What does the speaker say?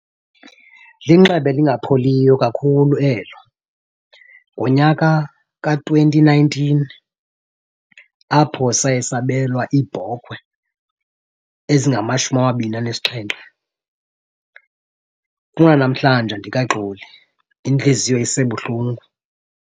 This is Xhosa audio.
Linxeba elingapheliyo kakhulu elo. Ngonyaka ka-twenty nineteen apho saye sabelwa iibhokhwe ezingamashumi amabini anesixhenxe. Kunanamhlanje andikaxoli, intliziyo isebuhlungu.